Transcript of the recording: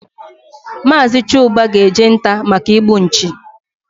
Mazi Chuba ga eje nta maka igbu nchi